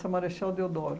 Marechal Deodoro.